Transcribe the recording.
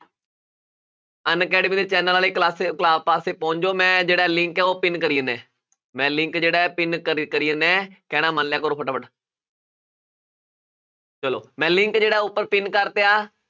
Unacademy ਦੇ channel ਵਾਲੀ class, class ਪਾਸੇ ਪਹੁੰਚ ਜਾਓ ਮੈਂ ਜਿਹੜਾ link ਹੈ ਉਹ pin ਕਰੀ ਜਾਨਾ ਹੈ ਮੈਂ link ਜਿਹੜਾ ਹੈ pin ਕਰੀ ਕਰੀ ਜਾਨਾ ਹੈ ਕਹਿਣਾ ਮੰਨ ਲਿਆ ਕਰੋ ਫਟਾਫਟ ਚਲੋ ਮੈਂ link ਜਿਹੜਾ ਉੱਪਰ pin ਕਰਤਿਆ